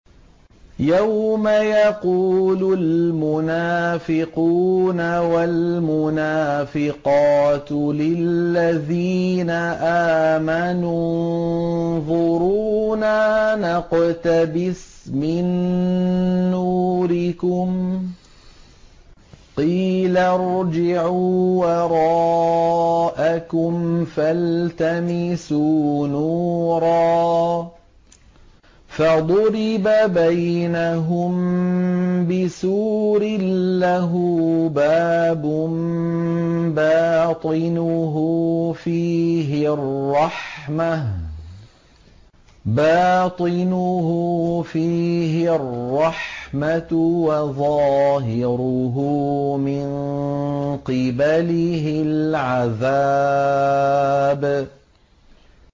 يَوْمَ يَقُولُ الْمُنَافِقُونَ وَالْمُنَافِقَاتُ لِلَّذِينَ آمَنُوا انظُرُونَا نَقْتَبِسْ مِن نُّورِكُمْ قِيلَ ارْجِعُوا وَرَاءَكُمْ فَالْتَمِسُوا نُورًا فَضُرِبَ بَيْنَهُم بِسُورٍ لَّهُ بَابٌ بَاطِنُهُ فِيهِ الرَّحْمَةُ وَظَاهِرُهُ مِن قِبَلِهِ الْعَذَابُ